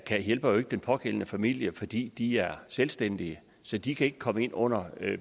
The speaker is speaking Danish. hjælper den pågældende familie fordi de er selvstændige så de kan ikke komme ind under